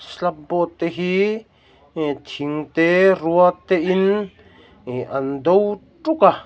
slab board te hi eh thing te rua te in ihh an do tuk a.